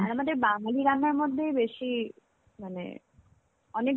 আর আমাদের বাঙালি রান্নার মধ্যেই বেশী মানে অনেক